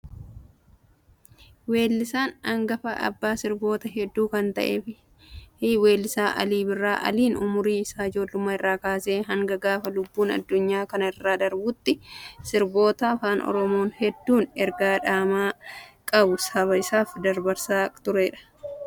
Weellisaa hangafa, abbaa sirboota hedduu kan ta'e weellisaa Alii Birraa. Aliin umurii isaa ijoollummaa irraa kaasee hanga gaafa lubbuun addunyaa kana irraa darbuutti sirboota afaan Oromoo hedduun ergaa dhama qabu saba isaaf dabarsaa nama turedha.